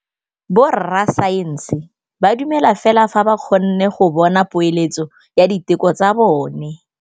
Borra saense ba dumela fela fa ba kgonne go bona poeletsô ya diteko tsa bone.